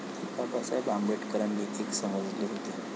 बाबासाहेब आंबेडकरांनी एक समजले होते.